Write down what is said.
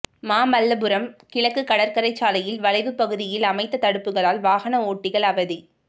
மாமல்லபுரம் கிழக்கு கடற்கரை சாலையில் வளைவு பகுதியில் அமைத்த தடுப்புகளால் வாகன ஓட்டிகள் அவதி